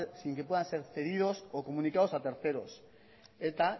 sin que puedan ser cedidos o comunicados a terceros eta